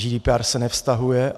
GDPR se nevztahuje.